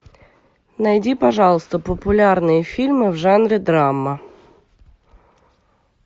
найди пожалуйста популярные фильмы в жанре драма